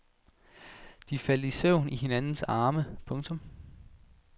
De faldt i søvn i hinandens arme. punktum